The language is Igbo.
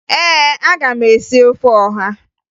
Ee, aga m esi ofe ọha